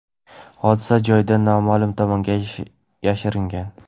hodisa joyidan noma’lum tomonga yashiringan.